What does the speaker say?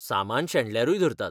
सामान शेणल्यारूय धरतात.